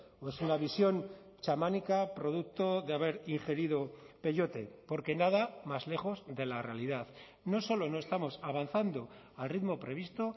o es una visión chamánica producto de haber ingerido pelyote porque nada más lejos de la realidad no solo no estamos avanzando al ritmo previsto